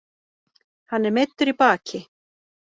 Hann er meiddur í baki